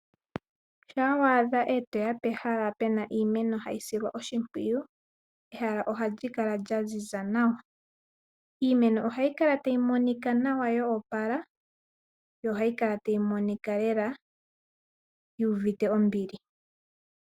Shampa weya pehala lyiimeno ha yi silwa oshimpwiyu nawa, iimeno oha yi kala ya ziza nawa, iimeno oha yi kala ta yi monika nawa yoopala yo oha yi kala tayimonikwa yuuvite ombili lela.